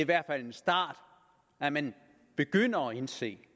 hvert fald en start at man begynder at indse